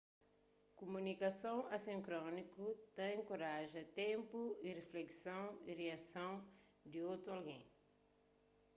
kuminikason asínkroniku ta enkoraja ténpu di riflekson y riason di otu algen